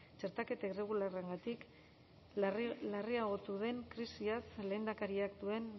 txertaketa irregularrarengatik larriagotu den krisiaz lehendakariak duen